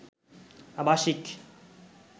আবাসিক